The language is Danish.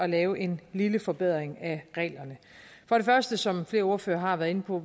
lave en lille forbedring af reglerne for det første som flere ordførere har været inde på